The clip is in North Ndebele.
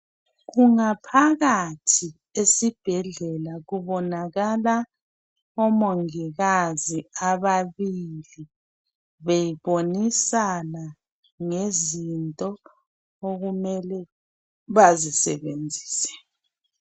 Kungaphakathi esibhedlela kubonakala omongikazi ababili, bebonisana ngezinto okumele bazisebenzise.